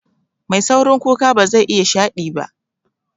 Mai saurin kuka bazai iya shaɗi ba